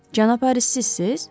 Cənab Haris sizsiz?